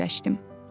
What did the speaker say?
Fikirləşdim.